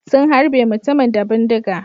Sun harbe mutumin da bindiga.